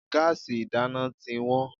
Gáàsì ìdáná tí wọ́n.